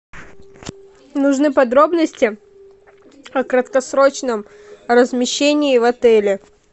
нужны подробности о краткосрочном размещении в отеле